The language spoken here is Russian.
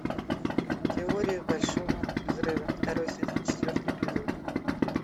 теория большого взрыва второй сезон четвертый эпизод